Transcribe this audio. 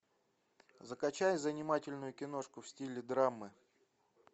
закачай занимательную киношку в стиле драмы